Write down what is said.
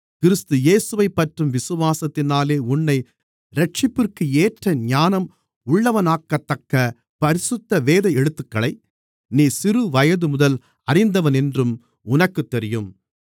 கிறிஸ்து இயேசுவைப்பற்றும் விசுவாசத்தினாலே உன்னை இரட்சிப்பிற்கு ஏற்ற ஞானம் உள்ளவனாக்கத்தக்க பரிசுத்த வேத எழுத்துக்களை நீ சிறுவயதுமுதல் அறிந்தவனென்றும் உனக்குத் தெரியும்